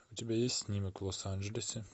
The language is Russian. у тебя есть снимок в лос анджелесе